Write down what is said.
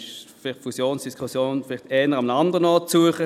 Für die Fusionsverträge muss an anderer Stelle gesucht werden.